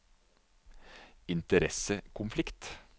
interessekonflikt